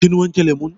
Kin wanke lemun?